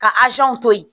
Ka to yen